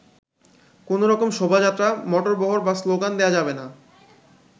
কোনো রকম শোভাযাত্রা, মোটরবহর বা স্লোগান দেয়া যাবে না।